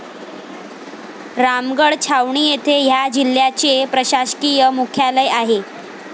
रामगड छावणी येथे ह्या जिल्ह्याचे प्रशासकीय मुख्यालय आहे.